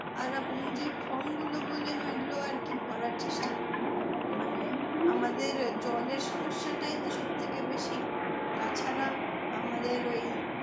আর আপনি যে form গুলো বললেন ওই গুলো আর কি ভরার চেষ্টা করি মানে আমাদের জলের সমস্যাটাই তো সব থেকে বেশী তাছাড়া আমাদের ওই